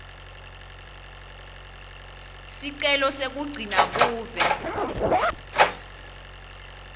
sicelo sekugcina buve